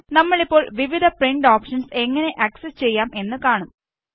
നമ്മളിപ്പോൾ വിവിധ print options എങ്ങനെ ആക്സസ് ചെയ്യാം എന്ന് കാണും